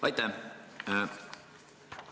Aitäh!